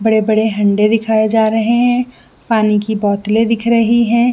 बड़े-बड़े हंडे दिखाई दे जा रहे है पानी के बोतले दिख रही है।